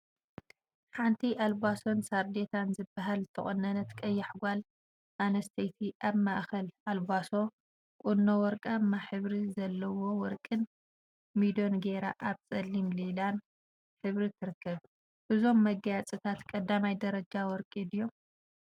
ሓንቲ አልባሶን ሳርዴታን ዝበሃል ዝተቆነነት ቀያሕ ጓል አንስተይቲ አብ ማእከል አልባሶ ቁኖ ወርቃማ ሕብሪ ዘለዎ ወርቂን ሚዶን ገይራ አብ ፀሊምን ሊላን ሕብሪ ትርከብ፡፡ እዞም መጋየፂታት 1ይ ደረጃ ወርቂ ድዮም?